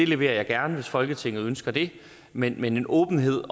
leverer jeg gerne hvis folketinget ønsker det men en åbenhed